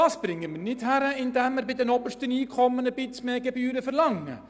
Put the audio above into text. Das kriegen wir nicht hin, indem wir bei den obersten Einkommen ein bisschen mehr Gebühren verlangen.